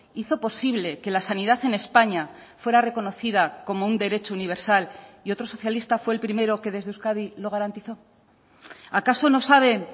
hizo posible que la sanidad en españa fuera reconocida como un derecho universal y otro socialista fue el primero que desde euskadi lo garantizo acaso no saben